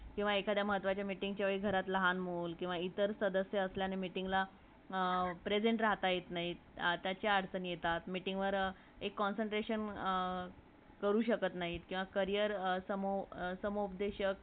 कवा एखादा महत्त्वाच्या वेळ मीटिंगला लहन मुल किवा इतर सदस्य असल्याने मीटिंगला present राहता येत नाही त्याचा अडचण येतात मीटिंगला एक concentration करू शकत नाही किवा carrier स्मूशकत नाही .